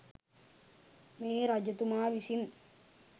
මේ රජතුමා විසින්